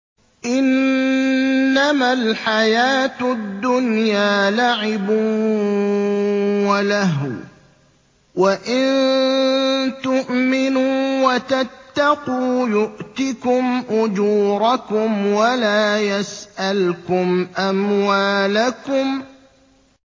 إِنَّمَا الْحَيَاةُ الدُّنْيَا لَعِبٌ وَلَهْوٌ ۚ وَإِن تُؤْمِنُوا وَتَتَّقُوا يُؤْتِكُمْ أُجُورَكُمْ وَلَا يَسْأَلْكُمْ أَمْوَالَكُمْ